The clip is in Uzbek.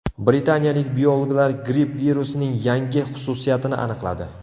Britaniyalik biologlar gripp virusining yangi xususiyatini aniqladi.